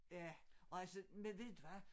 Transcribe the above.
Ja og altså men ved du hvad